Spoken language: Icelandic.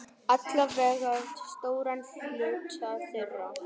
Alla vega stóran hluta þeirra.